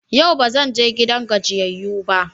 Yau ba zan je gidan gajiyayyu ba.